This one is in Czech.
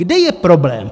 Kde je problém?